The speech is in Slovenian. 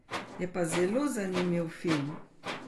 Je pa zelo zanimiv film.